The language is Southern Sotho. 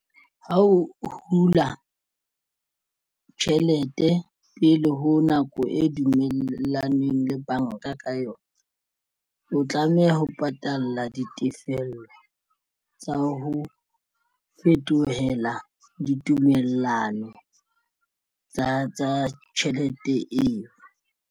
Ha o hula tjhelete pele ho nako e dumellanweng le banka ka yona o tlameha ho patalla ditefello tsa ho fetohela ditumellano tsa tjhelete eo.